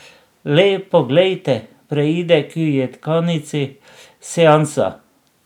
Le poglejte, preide k jedkanici Seansa.